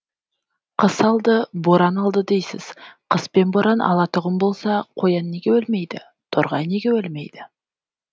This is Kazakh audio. қыс алды боран алды дейсіз қыс пен боран алатұғын болса қоян неге өлмейді торғай неге өлмейді